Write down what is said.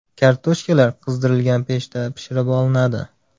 Kartoshkalar qizdirilgan pechda pishirib olinadi.